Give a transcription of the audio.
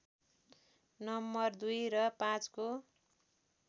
नं २ र ५ को